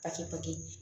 A ti